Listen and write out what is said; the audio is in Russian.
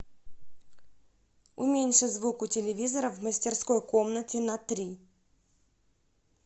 уменьши звук у телевизора в мастерской комнате на три